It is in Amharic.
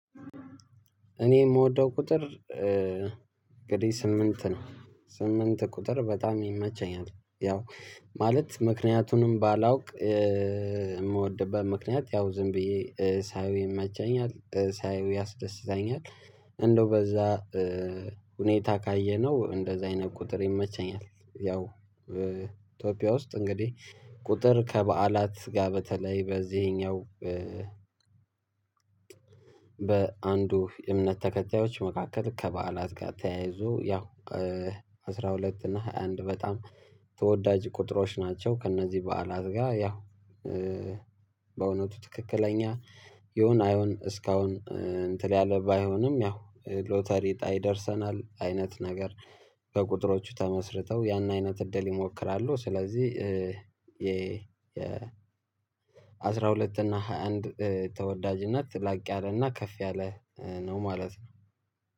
እኔ የምወደው ቁጥር እንግዲህ ስምንት ነው ስምንት ቁጥር በጣም ይመቸኛል ያው ማለት ምክንያቱንም ባላውቅ የምወድበት ምክንያት ያው ዝም ብዬ ሳየው ይመቻኛል ሳየው ያስደስታኛል እንደው በዛ ሁኔታ ካየነው እንደዚህ አይነት ቁጥር ይመቸኛል ያው ኢትዮጵያ ውስጥ እንግዲህ ቁጥር ከበዓላት ጋር በተለይ በዚህኛው በአንዱ የእምነት ተከታዮች መካከል ከበዓላት ጋር ተያይዞ ያው አስራ ሁለት እና ሃያ አንድ በጣም ተወዳጅ ቁጥሮች ናቸው ከእነዚህ በዓላት ጋር በእውነቱ ትክክለኛ ይሁን አይሆን እስካሁን እንትን ያለ ባይሆንም ያው ሎተሪ እጣ ይደርሰናል አይነት ነገር በቁጥሮቹ ተመስርተው ያን አይነት እድል ይሞክራሉ ስለዚህ የ የአስራ ሁለት እና ሃያ አንድ ተወዳጅነት ላቅ ያለ እና ከፍ ያለ ነው ማለት ነው።